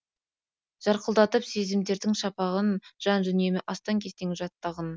жарқылдатып сезімдердің шақпағын жан дүниемде астаң кестең жатты ағын